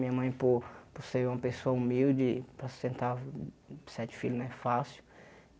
Minha mãe, por por ser uma pessoa humilde, para sustentar sete filhos não é fácil.